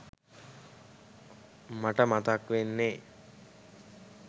මට මතක් වෙන්නෙ